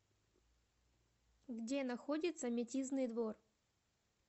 где находится метизный двор